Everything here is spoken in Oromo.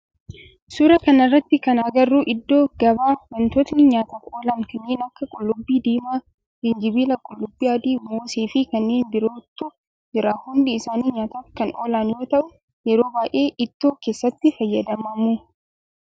Suuraa kana irratti kana agarru iddoo gabaa wantootni nyaataf oolan kanneen akka, qullubbii diimaa, jinjibila, qullubbii adii, moosee fi kanneen birootu jira. Hundi isaanii nyaataf kan oolan yoo ta'u yeroo baayyee ittoo keessatti fayyadamamu.